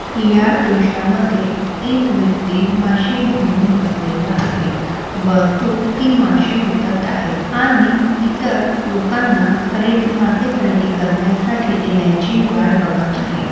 या दृश्यामध्ये एक व्यक्ति मासे घेऊन बसलेला आहे व तो ती मासे विकत आहेत आणि इतर लोकांना खरेद मासे खरेदी करण्यासाठी येण्याची वाट बघत आहे.